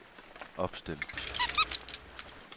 opstil